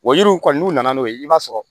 Wa yiriw kɔni n'u nana n'o ye i b'a sɔrɔ